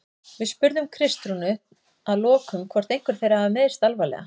Við spurðum Kristrúnu að lokum hvort einhver þeirra hafi meiðst alvarlega?